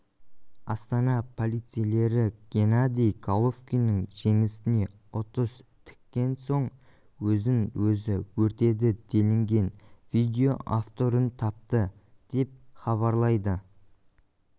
астана полицейлері геннадий головкиннің жеңісіне ұтыс тіккен соң өзін-өзі өртеді делінген видео авторын тапты деп хабарлайды